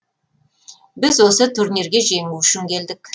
біз осы турнирге жеңу үшін келдік